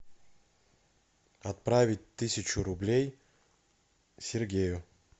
отправить тысячу рублей сергею